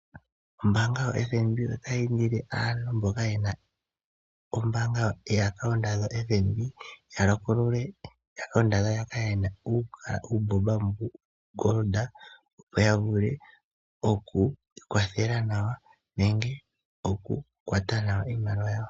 Ombaanga yoFNB otayi indile aantu mboka ye na omayalulo gombaanga ndjoka ya patulule nenge ya tameke okulongitha uumbomba woshingoli, opo ya vule oku ikwathela nawa nenge okukwata nawa iimaliwa yawo.